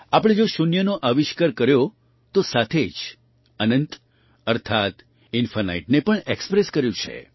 આપણે જો શૂન્યનો આવિષ્કાર કર્યો તો સાથે જ અનંત અર્થાત્ ઇન્ફાનાઇટને પણ ઍક્સ્પ્રેસ કર્યું છે